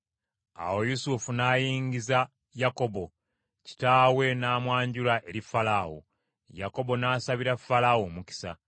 Awo Yusufu n’ayingiza Yakobo, kitaawe n’amwanjula eri Falaawo. Yakobo n’asabira Falaawo omukisa.